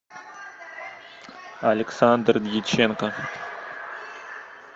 александр дьяченко